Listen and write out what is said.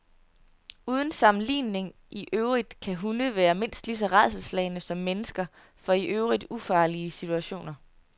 Uden sammenligning i øvrigt kan hunde være mindst lige så rædselsslagne som mennesker for i øvrigt ufarlige situationer.